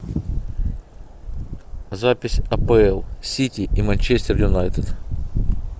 запись апл сити и манчестер юнайтед